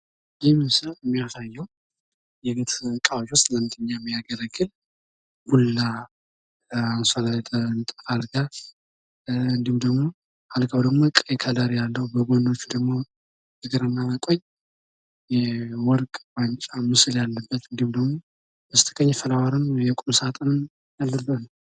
የቤት ዕቃዎች ዲዛይን እንደየቤቱ አቀማመጥና እንደየግለሰቡ ምርጫ የሚለያይ ሲሆን ዘመናዊና ባህላዊ ቅጦች በብዛት ይታያሉ።